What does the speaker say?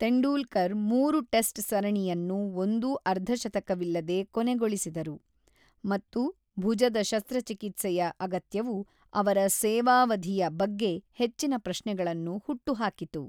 ತೆಂಡೂಲ್ಕರ್ ಮೂರು ಟೆಸ್ಟ್ ಸರಣಿಯನ್ನು ಒಂದೂ ಅರ್ಧಶತಕವಿಲ್ಲದೆ ಕೊನೆಗೊಳಿಸಿದರು, ಮತ್ತು ಭುಜದ ಶಸ್ತ್ರಚಿಕಿತ್ಸೆಯ ಅಗತ್ಯವು ಅವರ ಸೇವಾವಧಿಯ ಬಗ್ಗೆ ಹೆಚ್ಚಿನ ಪ್ರಶ್ನೆಗಳನ್ನು ಹುಟ್ಟುಹಾಕಿತು.